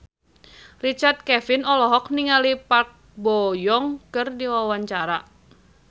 Richard Kevin olohok ningali Park Bo Yung keur diwawancara